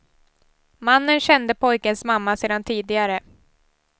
Mannen kände pojkens mamma sedan tidigare.